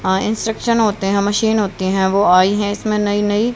आ instruction होते हैं machine होती हैं वो आई है इसमें नई नई।